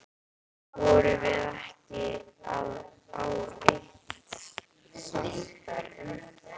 Vorum við ekki á eitt sáttar um það?